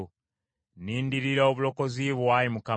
Nnindirira obulokozi bwo, Ayi Mukama .